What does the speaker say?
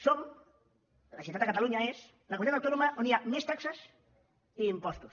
som la generalitat de catalunya és la comunitat autònoma on hi ha més taxes i impostos